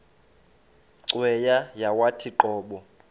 cweya yawathi qobo